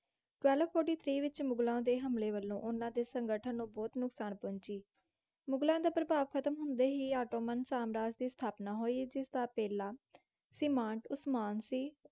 Twelve Forty Three ਵਿੱਚ ਮੁਗਲਾਂ ਦੇ ਹਮਲੇ ਵੱਲੋਂ ਉਹਨਾਂ ਦੇ ਸੰਗਠਨ ਨੂੰ ਬਹੁਤ ਨੁਕਸਾਨ ਪਹੁੰਚੀ। ਮੁਗਲਾਂ ਦਾ ਪ੍ਰਭਾਵ ਖ਼ਤਮ ਹੁੰਦੇ ਹੀ ਆਟੋਮਨ ਸਾਮਰਾਜ ਦੀ ਸਥਾਪਨਾ ਹੋਈ ਜਿਸਦਾ ਪਹਿਲਾਂ ਸੰਮ੍ਰਿਾਟ ਉਸਮਾਨ ਸੀ।